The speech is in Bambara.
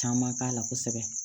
Caman k'a la kosɛbɛ